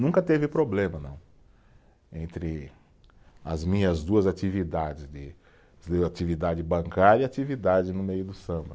Nunca teve problema, não, entre as minhas duas atividades de, atividade bancária e atividade no meio do samba.